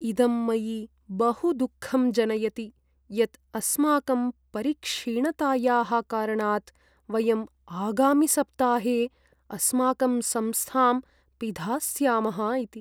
इदं मयि बहु दुःखं जनयति यत् अस्माकं परिक्षीणतायाः कारणात् वयम् आगामिसप्ताहे अस्माकं संस्थां पिधास्यामः इति।